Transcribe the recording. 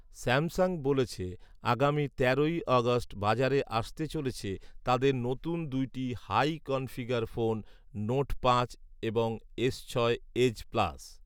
Samsung বলেছে আগামী তেরোই অগাস্ট বাজারে আসতে চলেছে তাদের নতুন দুইটি হাই কনফিগার ফোন নোট পাঁচ এবং এস ছয় এজ প্লাস